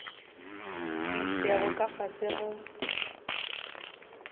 di sego ka fase ga